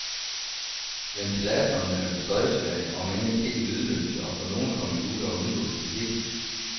Ventilatorerne laves støjsvage, omend ikke helt lydløse, og på nogle computere undgås de helt.